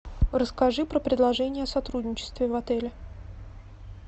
расскажи про предложение о сотрудничестве в отеле